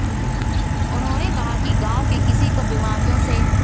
उन्होंने कहा कि गांव के किसी को बीमारियों से